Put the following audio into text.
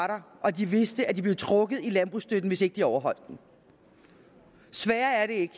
der og de vidste at de ville blive trukket i landbrugsstøtte hvis ikke de overholdt det sværere er det ikke